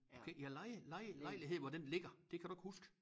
Okay ja leje leje lejlighed hvor den ligger det kan du ikke huske